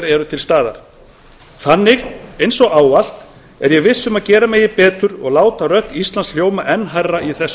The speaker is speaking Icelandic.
eru til staðar þannig eins og ávallt er ég viss um að gera megi betur og láta rödd íslands hljóma enn hærra í þessu